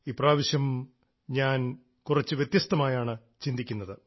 ഇപ്രാവശ്യം ഞാൻ വ്യത്യസ്തമായാണ് ചിന്തിക്കുന്നത്